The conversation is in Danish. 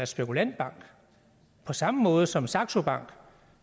spekulantbank på samme måde som saxo bank